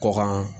Kɔkan